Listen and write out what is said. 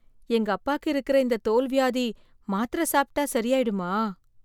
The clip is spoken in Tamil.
எங்க அப்பாக்கு இருக்கிற இந்த தோல் வியாதி மாத்திர சாப்பிட்டா சரியாயிடமா